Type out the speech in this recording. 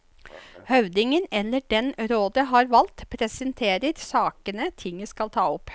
Høvdingen, eller den rådet har valgt, presenterer sakene tinget skal ta opp.